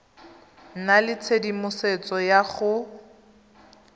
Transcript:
nna le tshedimosetso ya go